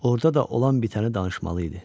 Orda da olan bitənə danışmalı idi.